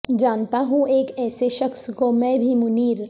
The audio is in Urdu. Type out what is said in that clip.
جانتا ہوں ایک ایسے شخص کو میں بھی منیر